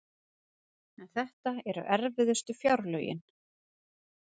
En þetta eru erfiðustu fjárlögin